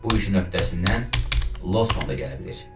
Bu işin öhdəsindən Losman da gələ bilir.